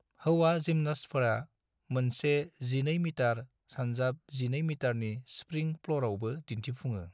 हौवा जिम्नास्टफोरा मोनसे 12 मिटार x 12 मिटारनि स्प्रिं फ्ल'रावबो दिन्थिफुङो।